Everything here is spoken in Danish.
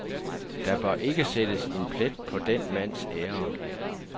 Der bør ikke sættes en plet på den mands ære.